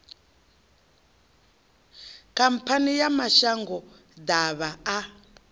khamphani ya mashango ḓavha a